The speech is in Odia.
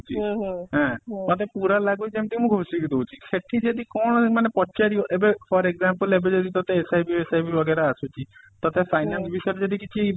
ଆଁ ମତେ ପୁରା ଲାଗୁଚି ଯେମିତି କି ମୁଁ ଘୋଷିକି ଦଉଚି ସେଠି ଯଦି କଣ ମାନେ ପଚାରିବ ଏବେ for example ଏବେ ଯଦି ତତେ ଆସୁଛି ତତେ finance ବିଷୟ ରେ ଯଦି କିଛି